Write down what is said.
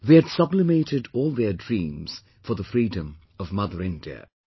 They had sublimated all their dreams for the freedom of Mother India